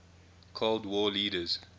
cold war leaders